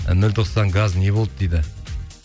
нөл тоқсан газ не болды дейді